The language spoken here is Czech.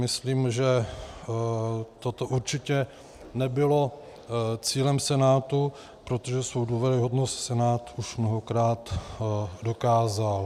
Myslím, že toto určitě nebylo cílem Senátu, protože svou důvěryhodnost Senát už mnohokrát dokázal.